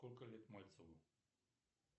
сколько лет мальцеву